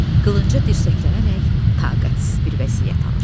Qılınca dirsəklənərək taqətsiz bir vəziyyət alır.